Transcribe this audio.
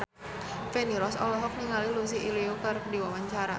Feni Rose olohok ningali Lucy Liu keur diwawancara